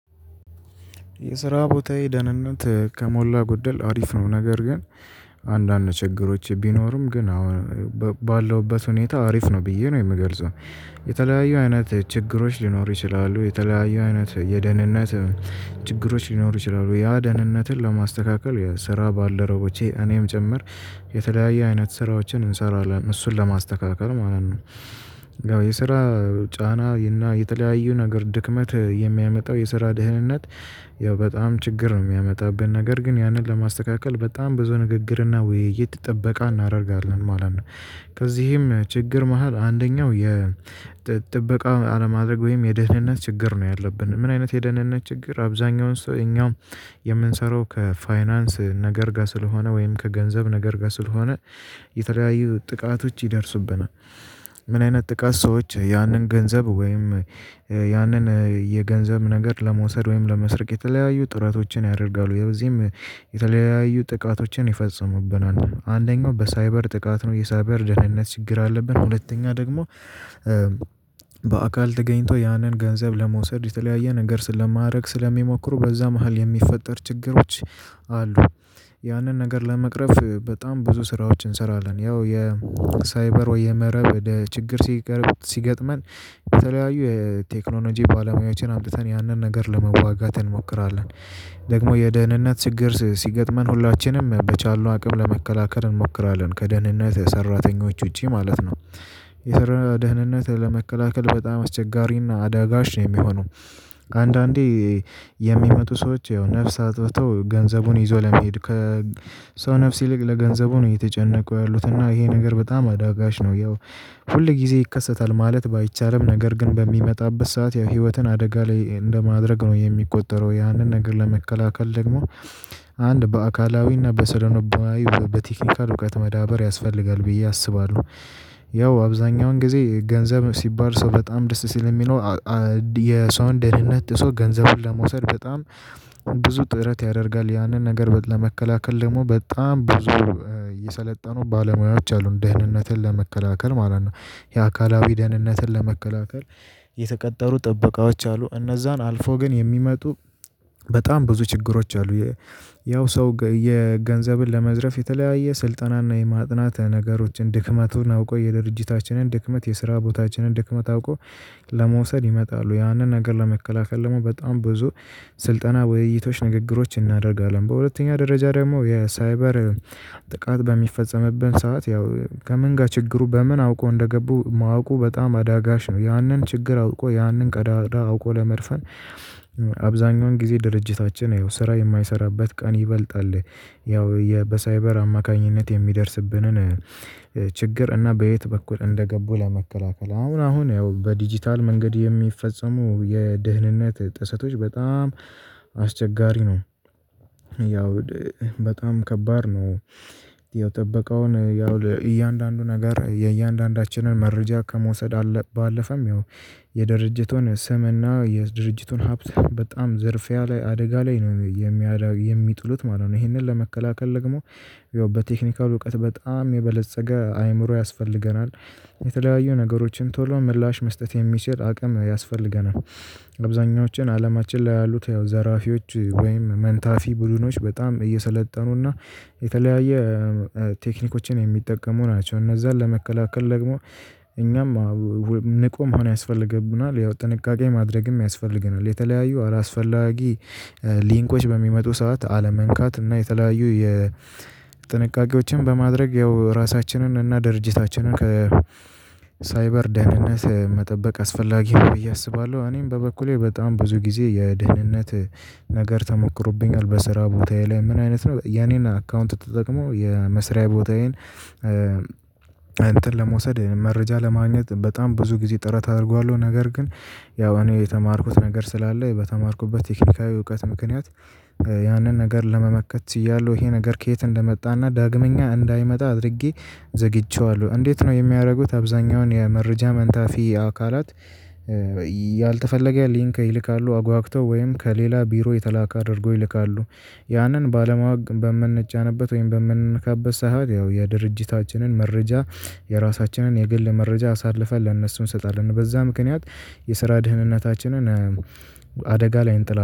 የስራ ቦታዬ ደህንነት ከሞላ ጎደል አሪፍ ነው ነገር ግን አንዳንድ ችግሮች ቢኖሩም ግን አሁን ባለውበት ሁኔታ አሪፍ ነው ብዬ ነው የምገልጸው። የተለያዩ አይነት ችግሮች ሊኖሩ ይችላሉ የተለያዩ አይነት የደህንነት ችግሮች ሊኖሩ ይችላሉ ያ ደህንነትን ለማስተካከል የስራ ባለሮቦቼ እኔም ጭምር የተለያየ አይነት ስራዎችን እንሰራለን እሱን ለማስተካከል ማለት ነው። ያው የስራ ጫና እና የተለያዩ ነገር ድክመት የሚያመጣው የስራ ደህንነት ያው በጣም ችግር ነው የሚያመጣብን ነገር ግን ያንን ለማስተካከል በጣም ብዙ ንግግርና ውይይት ጥበቃ እናደርጋለን ማለት ነው። ከዚህም ችግር መሃል አንደኛው የ ጥበቃ አለማድረግ ወይም የደህንነት ችግር ነው ያለብን ምን አይነት የደህንነት ችግር አብዛኛውን ሰው እኛ የምንሰራው ከፋይናንስ ነገር ጋር ስለሆነ ወይም ከገንዘብ ነገር ጋር ስለሆነ የተለያዩ ጥቃቶች ይደርሱብናል። ምን አይነት ጥቃት ሰዎች ያንን ገንዘብ ወይም ያንን የገንዘብ ነገር ለመውሰድ ወይም ለመስረቅ የተለያዩ ጥረቶችን ያደርጋሉ የዚህም የተለያዩ ጥቃቶችን ይፈጽሙብናል። አንደኛው በሳይበር ጥቃት ነው የሳይበር ደህንነት ችግር አለብን። ሁለተኛ ደግሞ በአካል ተገኝቶ ያንን ገንዘብ ለመውሰድ የተለያየ ነገር ስለማድረግ ስለሚሞክሩ በዛ መሃል የሚፈጠር ችግሮች አሉ። ያንን ነገር ለመቅረፍ በጣም ብዙ ስራዎችን እንሰራለን ያው የሳይበር ወይ የመረብ ችግር ሲገጥመን የተለያዩ የቴክኖሎጂ ባለሙያዎችን አምጥተን ያንን ነገር ለመዋጋት እንሞክራለን። ደግሞ የደህንነት ችግር ሲገጥመን ሁላችንም በቻልነው አቅም ለመከላከል እንሞክራለን ከደህንነት የሰራተኞች ውጪ ማለት ነው። የሰራ ደህንነት ለመከላከል በጣም አስቸጋሪና አዳጋች ነው የሚሆነው። ከአንዳንዴ የሚመጡ ሰዎች ያው ነፍስ አጥፍተው ገንዘቡን ይዞ ለመሄድ ከ ሰው ነፍስ ይልቅ ለገንዘቡ ነው የተጨነቁ ያሉት እና ይሄ ነገር በጣም አዳጋች ነው። ያው ሁል ጊዜ ይከሰታል ማለት ባይቻልም ነገር ግን በሚመጣበት ሰዓት ያው ህይወትን አደጋ ላይ እንደማድረግ ነው የሚቆጠረው ያንን ነገር ለመከላከል ደግሞ አንድ በአካላዊና በሰነልቦናዊ በቴክኒካል እውቀት መዳበር ያስፈልጋል ብዬ አስባለሁ። ያው አብዛኛውን ጊዜ ገንዘብ ሲባል ሰው በጣም ደስ ስለሚለው የሰውን ደህንነት ሰው ገንዘቡን ለመውሰድ በጣም ብዙ ጥረት ያደርጋል ያንን ነገር ለመከላከል ደግሞ በጣም ብዙ የሰለጠኑ ባለሙያዎች አሉን ደህንነትን ለመከላከል ማለት ነው። የአካላዊ ደህንነትን ለመከላከል የተቀጠሩ ጥበቃዎች አሉ እነዛን አልፎ ግን የሚመጡ በጣም ብዙ ችግሮች አሉ። ያው ሰው የገንዘብን ለመዝረፍ የተለያየ ስልጠናና የማጥናት ነገሮችን ድክመቱን አውቆ የድርጅታችንን ድክመት የስራ ቦታችንን ድክመት አውቆ ለመውሰድ ይመጣሉ ያንን ነገር ለመከላከል ደግሞ በጣም ብዙ ስልጠና ውይይቶች ንግግሮች እናደርጋለን። በሁለተኛ ደረጃ ደግሞ የሳይበር ጥቃት በሚፈጸምብን ሰዓት ያው ከምንጋ ችግሩ በምን አውቀው እንደገቡ ማወቁ በጣም አዳጋች ነው። ያንን ችግር አውቆ ያንን ቀዳዳ አውቆ ለመድፈን አብዛኛውን ጊዜ ድርጅታችን ያው ስራ የማይሰራበት ቀን ይበልጣል። ያው በሳይበር አማካኝነት የሚደርስብንን ችግር እና በየት በኩል እንደገቡ ለመከላከል አሁን አሁን ያው በዲጂታል መንገድ የሚፈጸሙ የደህንነት ጥሰቶች በጣም አስቸጋሪ ነው። ያው በጣም ከባድ ነው። ያው ጥበቃውን ያው ለእያንዳንዱ ነገር የእያንዳንዳችንን መረጃ ከመውሰድ ባለፈም ያው የድርጅቱን ስምና የድርጅቱን ሀብት በጣም ዝርፊያ ላይ አደጋ ላይ ነው የሚጥሉት ማለት ነው። ይሄንን ለመከላከል ደግሞ ያው በቴክኒካል እውቀት በጣም የበለፀገ አይምሮ ያስፈልገናል። የተለያዩ ነገሮችን ቶሎ ምላሽ መስጠት የሚችል አቅም ያስፈልገናል። አብዛኛዎችን አለማችን ላይ ያሉት ያው ዘራፊዎች ወይም መንታፊ ቡድኖች በጣም እየሰለጠኑና የተለያየ ቴክኒኮችን የሚጠቀሙ ናቸው። እነዛን ለመከላከል ደግሞ እኛም ንቁ መሆን ያስፈልግብናል ያው ጥንቃቄ ማድረግም ያስፈልገናል። የተለያዩ አላስፈላጊ ሊንኮች በሚመጡ ሰዓት አለመንካት እና የተለያዩ የ የጥንቃቄዎችን በማድረግ ያው ራሳችንን እና ድርጅታችንን ከ ሳይበር ደህንነት መጠበቅ አስፈላጊ ነው። ብየ አስባለሁ። እኔም በበኩሌ በጣም ብዙ ጊዜ የደህንነት ነገር ተሞክሮብኛል። በስራ ቦታዬ ላይ ምን አይነት ነው የኔን አካውንት ተጠቅሞ የመስሪያ ቦታዬን እንትን ለመውሰድ መረጃ ለማግኘት በጣም ብዙ ጊዜ ጥረት አርገዋሉ ነገር ግን ያው እኔ የተማርኩት ነገር ስላለ በተማርኩበት ቴክኒካዊ እውቀት ምክንያት ያንን ነገር ለመመከት ችያለው። ይሄ ነገር ከየት እንደመጣና ዳግመኛ እንዳይመጣ አድርጌ ዘግቼዋለሁ እንዴት ነው የሚያደርጉት? አብዛኛውን የመረጃ መንታፊ አካላት ያልተፈለገ ሊንክ ይልካሉ አጓግተው ወይም ከሌላ ቢሮ የተላከ አድርገው ይልካሉ። ያንን ባለማወቅ በምንጫንበት ወይም በምንነካበት ሰዓት ያው የድርጅታችንን መረጃ የራሳችንን የግል መረጃ አሳልፈን ለነሱ እንሰጣለን። በዛ ምክንያት የስራ ደህንነታችንን አደጋ ላይ እንጥላ